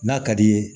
N'a ka d'i ye